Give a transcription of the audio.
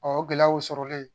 o gɛlɛyaw sɔrɔlen